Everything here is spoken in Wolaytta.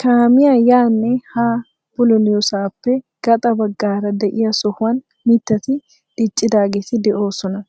Kaamiyaa yaanne haa bululiyoosappe gaaxa bagaara de'iyaa sohuwan mittati diccidaageti de'oosona.